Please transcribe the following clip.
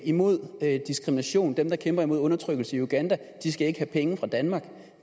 imod diskrimination dem der kæmper mod undertrykkelse i uganda skal ikke have penge fra danmark